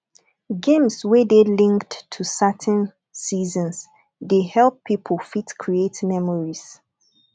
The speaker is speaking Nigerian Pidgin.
games wey dey linked to certain seasons dey help pipo fit create memories